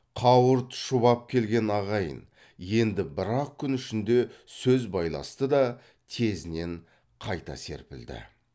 қауырт шұбап келген ағайын енді бір ақ күн ішінде сөз байласты да тезінен қайта серпілді